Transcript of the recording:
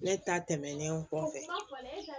Ne ta tɛmɛnen kɔfɛ